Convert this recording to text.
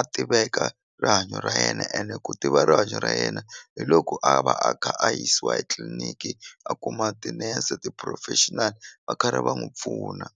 a tiveka rihanyo ra yena ene ku tiva rihanyo ra yena hi loko a va a kha a yisiwa etliliniki a kuma tinese ti-professional va karhi va n'wu pfuna.